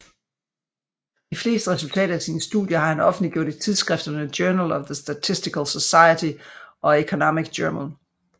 De fleste resultater af sine studier har han offentliggjort i tidsskrifterne Journal of the Statistical Society og Economic Journal